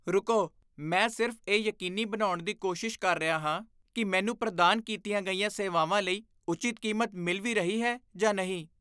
ਰੁਕੋ, ਮੈਂ ਸਿਰਫ਼ ਇਹ ਯਕੀਨੀ ਬਣਾਉਣ ਦੀ ਕੋਸ਼ਿਸ਼ ਕਰ ਰਿਹਾ ਹਾਂ ਕਿ ਮੈਨੂੰ ਪ੍ਰਦਾਨ ਕੀਤੀਆਂ ਗਈਆਂ ਸੇਵਾਵਾਂ ਲਈ ਉਚਿਤ ਕੀਮਤ ਮਿਲ ਵੀ ਰਹੀ ਹੈ ਜਾਂ ਨਹੀਂ।